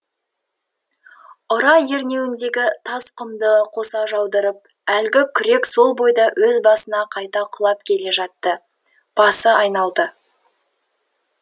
ұра ернеуіндегі тас құмды қоса жаудырып әлгі күрек сол бойда өз басына қайта құлап келе жатты басы айналды